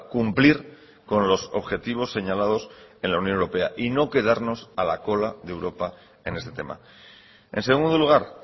cumplir con los objetivos señalados en la unión europea y no quedarnos a la cola de europa en este tema en segundo lugar